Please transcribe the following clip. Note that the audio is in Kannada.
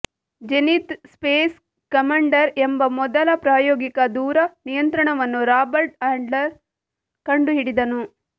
ಜೆನಿತ್ ಸ್ಪೇಸ್ ಕಮಾಂಡರ್ ಎಂಬ ಮೊದಲ ಪ್ರಾಯೋಗಿಕ ದೂರ ನಿಯಂತ್ರಣವನ್ನು ರಾಬರ್ಟ್ ಆಡ್ಲರ್ ಕಂಡುಹಿಡಿದನು